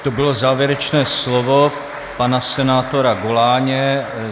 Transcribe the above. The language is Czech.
To bylo závěrečné slovo pana senátora Goláně.